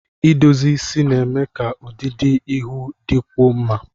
Idozi isi na-eme ka ọdịdị ihu dịkwuo mma